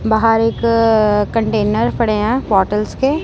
बाहर एक कंटेनर पड़े है बॉटल्स के--